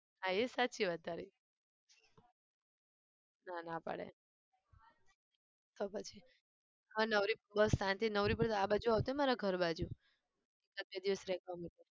હા એ સાચી વાત તારી. ના ના પાડે તો પછી હવે નવરી બસ શાંતિથી નવરી પડી તો આ બાજુ આવજે મારા ઘર બાજુ પાંચ છ દિવસ રહેવા માટે.